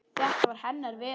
Þetta var hennar veröld.